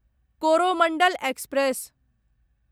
Coromandel express